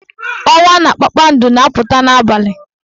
Ọnwa na kpakpando na-apụta n'abalị.